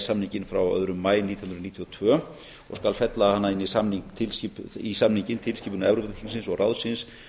samninginn frá öðrum maí nítján hundruð níutíu og tvö og skal fella hana inn í samninginn tilskipun evrópuþingsins og ráðsins